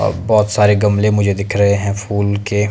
और बहोत सारे गमले मुझे दिख रहे हैं फूल के।